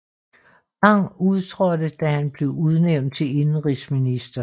Bang udtrådte da han blev udnævnt til indenrigsminister